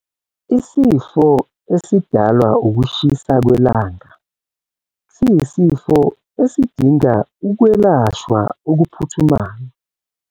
Isifo esidalwa ukushisa kwelanga siyisifo esidinga ukwelashwa okuphuthumayo.